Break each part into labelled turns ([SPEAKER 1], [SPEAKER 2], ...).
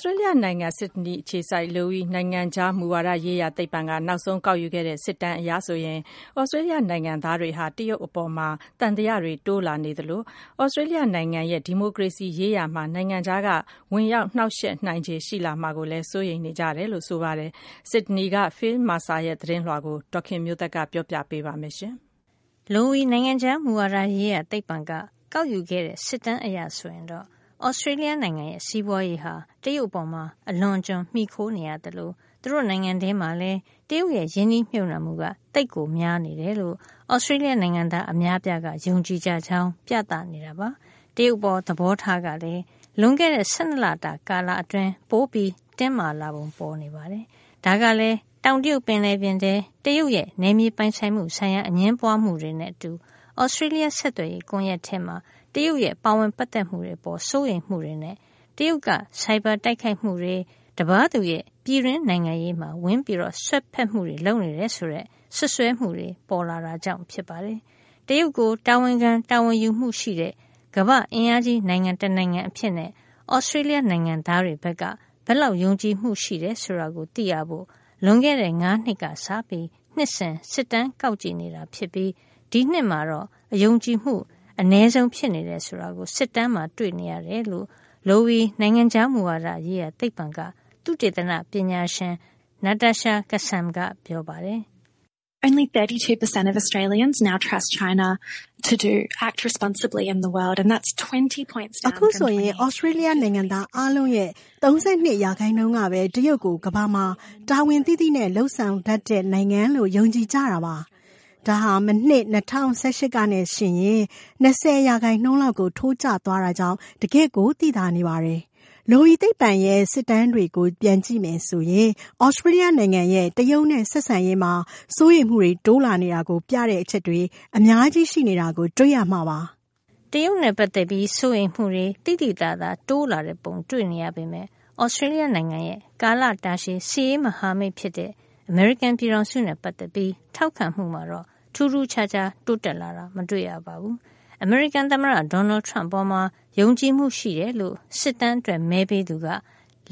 [SPEAKER 1] စတေးလျ နိုင်ငံ ဆစ်ဒနီအခြေစိုက် Lowy နိုင်ငံခြား မူဝါဒရေးရာသိပ္ပံက နောက်ဆုံး ကောက်ယူခဲ့တဲ့ စစ်တမ်းအရ ဆိုရင် သြစတေးလျ နိုင်ငံသား တွေဟာ တရုတ်အပေါ် သံသယတွေ တိုးလာနေသလို သြစတေးလျ နိုင်ငံရဲ့ ဒီမိုကရေစီရေးရာမှာ နိုင်ငံခြားက ဝင်ရောက်နှောက်ယှက် နိုင်ခြေရှိလာမှာကို စိုးရိမ်နေကြတယ်လို့ ဆိုပါတယ်။ ဆစ်ဒနီက Phil Mercer ရဲ့ သတင်းလွှာကို ဒေါ်ခင်မျိုးသက်က ပြောပြပေးမှာပါ။ Lowy နိုင်ငံခြား မူဝါဒရေးရာသိပ္ပံက ကောက်ယူခဲ့တဲ့ စစ်တမ်းအရ ဆိုရင်တော့ သြစတေးလျ နိုင်ငံရဲ့ စီးပွါးရေးဟာ တရုတ်အပေါ် အလွန်အကျွံ မှီခိုနေရသလို သူတို့နိုင်ငံထဲမှာလည်း တရုတ်ရဲ့ ရင်းနှီးမြှုပ်နှံမှုက သိပ်များနေတယ်လို့ သြစတေးလျ နိုင်ငံသား အများအပြားက ယုံကြည်ကြောင်း ပြသနေ ပါတယ်။ တရုတ်အပေါ် သဘောထားကလည်း လွန်ခဲ့တဲ့ ၁၂ လတာကာလ အတွင်း ပိုတင်းမာလာပုံပေါ်နေတာပါ။ ဒါကလည်း တောင်တရုတ် ပင်လယ်ပြင်ထဲ တရုတ်ရဲ့ နယ်မြေပိုင်ဆိုင်မှု ဆိုင်ရာ အငြင်းပွါးမှုတွေနဲ့ အတူ သြစတေးလျ ဆက်သွယ်ရေး ကွန်ယက်ထဲ တရုတ်ရဲ့ ပါဝင်ပတ်သက်မှုတွေ အပေါ် စိုးရိမ်မှုတွေနဲ့ တရုတ်က ဆိုင်ဘာတိုက်ခိုက်မှုတွေ၊ တပါးသူရဲ့ပြည်တွင်းနိုင်ငံရေးမှာ ဝင်စွက်မှုတွေ လုပ်နေတယ်ဆိုတဲ့ စွပ်စွဲမှုတွေ ပေါ်လာတာကြောင့် ဖြစ်ပါတယ်။ တရုတ်ကို တာဝန်ခံတာဝန်ယူမှုရှိတဲ့ ကမ္ဘာ့အင်အားကြီးနိုင်ငံ တနိုင်ငံအဖြစ်နဲ့ သြစတေးလျ နိုင်ငံသားတွေ ဘက်က ဘယ်လောက် ယုံကြည်မှု ရှိတယ် ဆိုတာကို သိရဖို့ လွန်ခဲ့တဲ့ ၁၅ နှစ်ကစပြီး နှစ်စဉ် စစ်တမ်းကောက်ကြည့်နေတာ ဖြစ်ပြီး ဒီနှစ်မှာတော့ ယုံကြည်မှု အနည်းဆုံး ဖြစ်နေတာကို စစ်တမ်းမှာ တွေ့နေရတယ်လို့ Lowy နိုင်ငံခြား မူဝါဒရေးရာသိပ္ပံက သုတေသနပညာရှင် Natasha Kassam ကပြောပါတယ်။ “အခုဆိုရင် သြစတေးလျ
[SPEAKER 2] နိုင်ငံသား အားလုံးရဲ့ ၃၂ ရာခိုင်နှုန်း ကပဲ တရုတ်ကို ကမ္ဘာမှာ တာဝန်သိသိနဲ့ လုပ်ဆောင်တတ်တဲ့ နိုင်ငံလို့ ယုံကြည်ကြတာပါ။ ဒါဟာ မနှစ်- ၂၀၁၈ ကနဲ့ယှဉ်ရင် ၂၀ ရာခိုင်နှုန်း လောက်ကို ထိုးကျ သွားတာကြောင့် တကယ်ကို သိသာနေပါတယ်။ Lowy သိပ္ပံရဲ့ စစ်တမ်းတွေကို ပြန်ကြည့်မယ် ဆိုရင် သြစတေးလျ နိုင်ငံရဲ့ တရုတ်နဲ့ ဆက်ဆံရေးမှာ စိုးရိမ်မှုတွေ တိုးလာနေတာကို ပြတဲ့အချက်တွေ အများကြီးရှိနေတာကို တွေ့ရမှာပါ။
[SPEAKER 1] ” တရုတ်နဲ့ ပတ်သက်ပြီး စိုးရိမ်မှုတွေ သိသိသာသာတိုးလာတဲ့ ပုံတွေ့နေရပေမယ့် Australia နိုင်ငံရဲ့ ကာလတာရှည် စစ်ရေးမဟာမိတ် ဖြစ်တဲ့ အမေရိကန် ပြည်ထောင်စုနဲ့ ပတ်သက်ပြီး ထောက်ခံမှုမှာတော့ ထူးထူးခြားခြား တိုးတက်လာတာ မတွေ့ရပါဘူး။ အမေရိကန် သမ္မတ Donald Trump အပေါ် ယုံကြည်မှုရှိတယ်လို့ စစ်တမ်းအတွက် မဲပေးသူက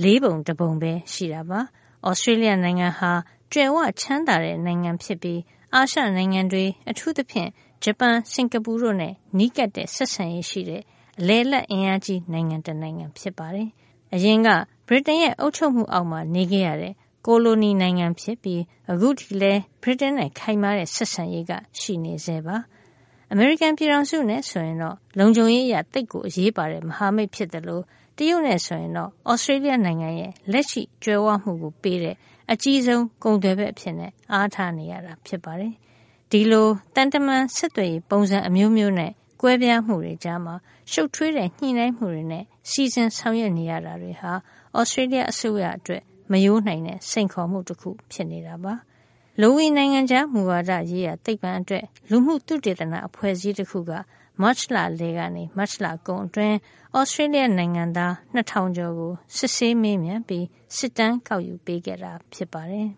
[SPEAKER 1] လေးပုံတပုံပဲ ရှိတာပါ။ သြစတေးလျ နိုင်ငံဟာ ကြွယ်ဝချမ်းသာတဲ့ နိုင်ငံဖြစ်ပြီး အာရှနိုင်ငံတွေ အထူးသဖြင့် ဂျပန်၊ စင်္ကာပူတို့နဲ့ နီးကပ်တဲ့ ဆက်ဆံရေးရှိတဲ့ အလယ်အလတ် အင်အားကြီး နိုင်ငံတနိုင်ငံ ဖြစ်ပါတယ်။ အရင်က ဗြိတိန်ရဲ့ အုပ်ချုပ်မှုအောက်မှာ နေခဲ့ရတဲ့ ကိုလိုနီနိုင်ငံဖြစ်ပြီး ခုထိလည်း ဗြိတိန်နဲ့ ခိုင်မာတဲ့ ဆက်ဆံရေးရှိနေဆဲပါ။ အမေရိကန်ပြည်ထောင်စုနဲ့ ဆိုရင် လုံခြုံရေးအရ သိပ်ကို အရေးပါတဲ့ မဟာမိတ်ဖြစ်သလို တရုတ်နဲ့ ဆိုရင်တော့ သြစတေးလျ နိုင်ငံရဲ့ လက်ရှိကြွယ်ဝမှုကို ပေးတဲ့ အကြီးဆုံး ကုန်သွယ်ဖက်အဖြစ် အားထားနေရတာ ဖြစ်ပါတယ်။ ဒီလို သံတမန်ဆက်သွယ်ရေး ပုံစံအမျိုးမျိးနဲ့ ကွဲပြားမှုတွေကြားမှာ ရှုပ်ထွေးတဲ့ ညှိနှိုင်းမှုတွေနဲ့ စီစဉ်ဆောင်ရွက် နေရတာတွေဟာ သြစတေးလျ အစိုးရအတွက် မရိုးနိုင်တဲ့ စိန်ခေါ်မှု တခုဖြစ်နေတာပါ။ Lowy နိုင်ငံခြား မူဝါဒရေးရာသိပ္ပံအတွက် လူမှု သုတေသန အဖွဲ့အစည်းတခုက မတ်လ အလယ် ကနေ မတ်လကုန်အတွင်း သြစတေးလျ နိုင်ငံသား ၂ ထောင်ကျော်ကို စစ်ဆေးမေးမြန်းပြီး စစ်တမ်းကောက်ယူပေးခဲ့တာ ဖြစ်ပါတယ်